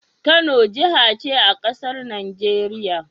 Kano jahace a casar Nigeria?